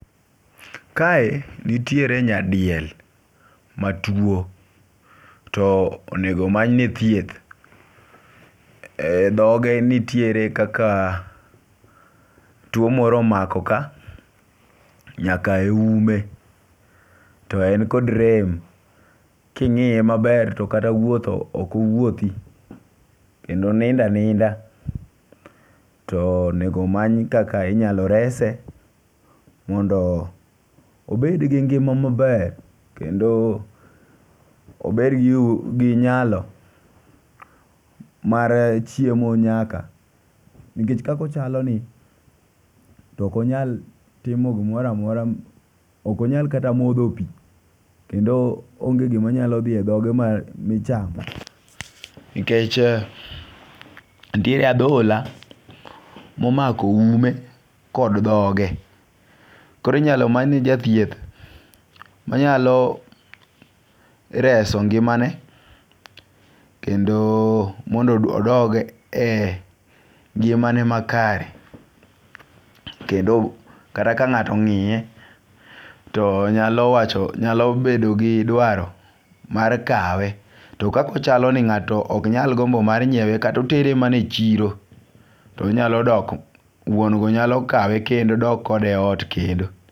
Kae nitiere nya diel matuo to onego many ne thieth. E dhoge nitiere kaka tuo moro omako ka nyaka e ume to en kod rem ,king'iye maber to kata wuotho ok wouothi kendo oninda ninda. To nego omany kaka inyalo rese mondo obed gi ngima maber kendo obed ni gi nyalo mar chiemo nyaka nikech kako chalo ni ok onyal timo gimoramora. Ok onyal kata modho pii keneo onge gimanyalo dhi e dhoge michamo nikech ntie adhola momako ume kod dhoge. Koro inyalo many ne jathieth manyalo reso ngimane kendo mondo odog e ngimane ma kare kendo kata ka ng'ato ong'iye to nyalo wacho nyalo bedo gi dwaro mar kawe .To kako chalo ni ng'ato ok nyal gombo mar nyiewo tonyalo dok wuon go nyalo kawe kendo dok kode ot kendo.